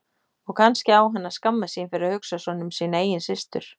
Og kannski á hann að skammast sín fyrir að hugsa svona um sína eigin systur.